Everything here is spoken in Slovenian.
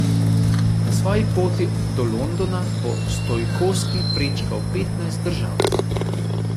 Na svoji poti do Londona bo Stojkoski prečkal petnajst držav.